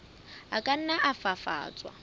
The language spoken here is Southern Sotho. a ka nna a fafatswa